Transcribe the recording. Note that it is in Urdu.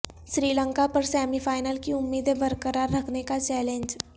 سری لنکا پر سیمی فائنل کی امیدیں برقرار رکھنے کا چیلنج